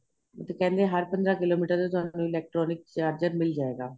ਉਥੇ ਕਹਿੰਦੇ ਹਰ ਪੰਦਰਾਂ ਕਿਲੋਮੀਟਰ ਤੇ ਤੁਹਾਨੂੰ electronic charger ਮਿਲ ਜਾਏਗਾ